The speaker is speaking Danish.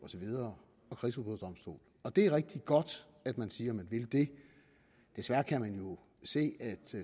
så videre og det er rigtigt godt at man siger at man vil det desværre kan vi jo se at